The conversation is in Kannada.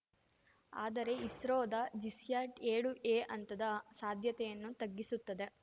ಆದರೆ ಇಸ್ರೋದ ಜಿಸ್ಯಾಟ್‌ಏಳುಎ ಅಂತದ ಸಾಧ್ಯತೆಯನ್ನು ತಗ್ಗಿಸುತ್ತದೆ